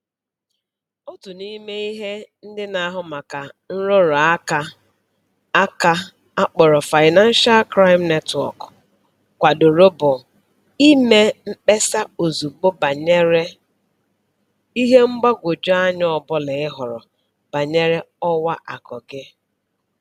Otu n'ime ihe ndị na-ahụ maka nrụrụ aka aka a kpọrọ Financial Crime Network kwadoro bụ ime mkpesa ozugbo banyere ihe mgbagwoju anya ọbụla ị hụrụ banyere ọwa akụ gị